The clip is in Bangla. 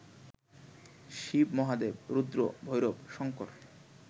শিব মহাদেব, রুদ্র, ভৈরব, শঙ্কর